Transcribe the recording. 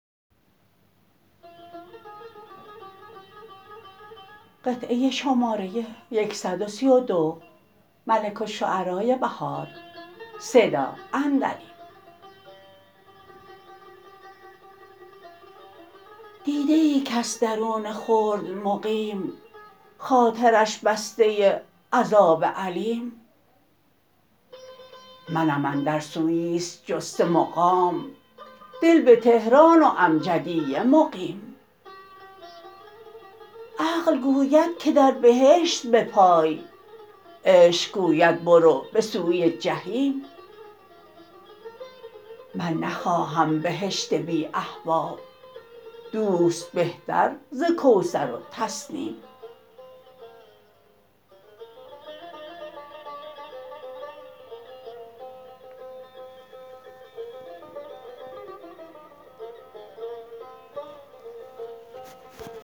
دیده ای کس درون خلد مقیم خاطرش بسته عذاب الیم منم اندر سویس جسته مقام دل به تهران و امجدیه مقیم عقل گوید که در بهشت بپای عشق گوبد برو به سوی جحیم من نخواهم بهشت بی احباب دوست بهتر ز کوثر و تسنیم